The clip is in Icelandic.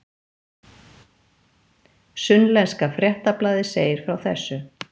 Sunnlenska fréttablaðið segir frá þessu